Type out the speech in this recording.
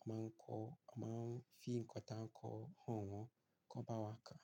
A máa ń kọ. A máa ń fi ǹkan tá a ń kọ hàn wọ́n. Kọn bá wa kà.